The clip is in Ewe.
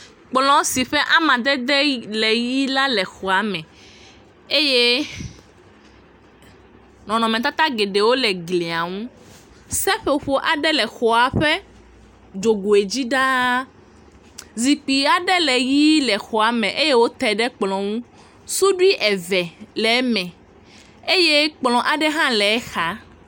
Kplɔ si ƒe amadede le ʋi la le xɔa me eye nɔnɔmetata gewo le glia nu. Seƒoƒo aɖe le xɔa ƒe dzogoe dzi ɖaa. Zikpui aɖe le ʋi le xɔa me eye wote ɖe kplɔ ŋu. Suɖui eve le eme eye kplɔ aɖe hã le exa.